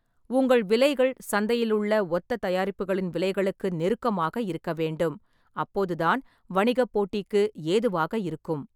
உங்கள் விலைகள் சந்தையிலுள்ள ஒத்த தயாரிப்புகளின் விலைகளுக்கு நெருக்கமாக இருக்கவேண்டும், அப்போதுதான் வணிகப் போட்டிக்கு ஏதுவாக இருக்கும்.